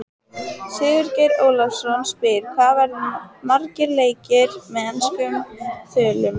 Sigurgeir Ólafsson spyr: Hvað verða margir leikir með enskum þulum?